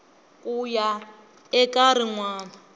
ku ya eka rin wana